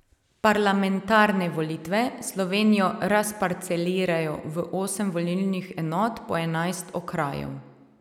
Parlamentarne volitve Slovenijo razparcelirajo v osem volilnih enot po enajst okrajev.